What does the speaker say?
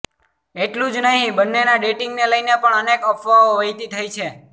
એટલું જ નહીં બન્નેના ડેટિંગને લઇને પણ અનેક અફવાઓ વહેતી થઈ છે